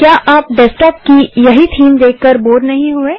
क्या आप डेस्कटॉप की यही थीम देखकर बोर नहीं हुए